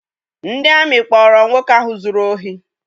Ndị amị kpọọrọ nwoke ahụ zụrụ ohi.